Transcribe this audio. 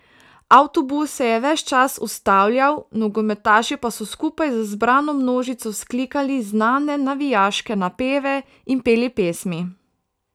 Avtobus se je ves čas ustavljal, nogometaši pa so skupaj z zbrano množico vzklikali znane navijaške napeve in peli pesmi.